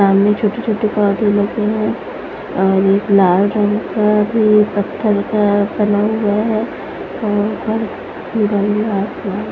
सामने छोटी छोटी पौधे लगी है और लाल रंग का भी पत्थर का बना हुआ है और --